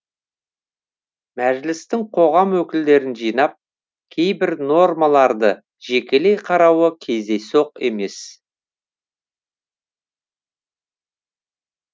мәжілістің қоғам өкілдерін жинап кейбір нормаларды жекелей қарауы кездейсоқ емес